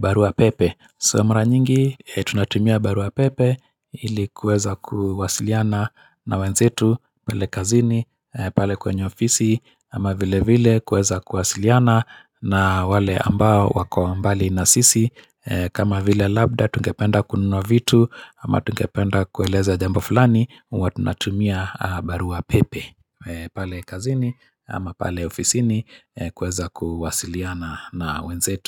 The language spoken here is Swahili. barua pepe. Saa mara nyingi, tunatumia barua pepe, ili kuweza kuwasiliana na wenzetu. Pale kazini, pale kwenye ofisi, ama vile vile kuweza kuwasiliana na wale ambao wako mbali na sisi. Kama vile labda tungependa kununuwa vitu, ama tungependa kueleza jambo fulani huwa tunatumia barua pepe pale kazini ama pale ofisini kuweza kuwasiliana na wenzetu.